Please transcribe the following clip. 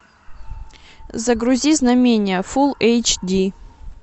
загрузи знамения фул эйч ди